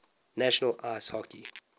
national ice hockey